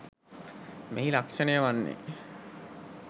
මෙහි ලක්‍ෂණය වන්නේ